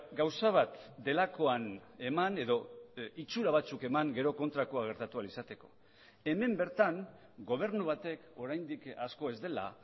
gauza bat delakoan eman edo itxura batzuk eman gero kontrakoa gertatu ahal izateko hemen bertan gobernu batek oraindik asko ez dela